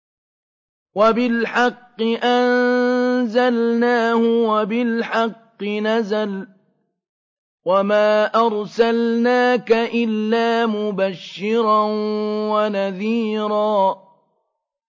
وَبِالْحَقِّ أَنزَلْنَاهُ وَبِالْحَقِّ نَزَلَ ۗ وَمَا أَرْسَلْنَاكَ إِلَّا مُبَشِّرًا وَنَذِيرًا